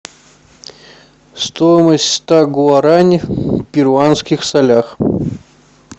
стоимость ста гуарани в перуанских солях